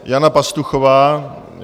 Jana Pastuchová.